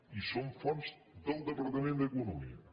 i són fonts del departament d’economia